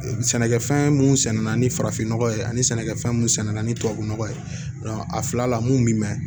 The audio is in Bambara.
Sɛnɛkɛfɛn mun sɛnɛna ni farafin nɔgɔ ye ani sɛnɛkɛfɛn munna ni tubabu nɔgɔ ye a fila la mun bi mɛn